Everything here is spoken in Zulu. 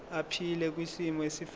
aphile kwisimo esifanele